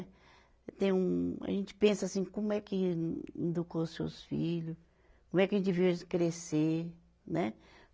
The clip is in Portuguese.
Tem um. A gente pensa assim, como é que educou seus filho, como é que a gente viu eles crescer, né?